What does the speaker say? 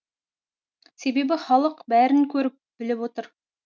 себебі халық бәрін көріп біліп отыр